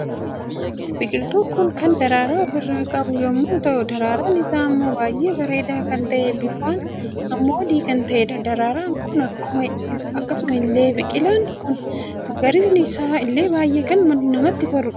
Biqiltuun kun kan daraaraa ofirraa qabu yemmuu ta'u daararan isaa immoo baay'ee bareedaa kan ta'e bifan immoo adii kan ta'eedha. daararan kun akkasuma illee biqilaan kun magariisni isaa illee baay'ee kan namatti toludha.